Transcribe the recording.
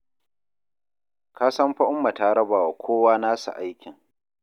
Ka san fa Umma ta raba wa kowa nasa aikin.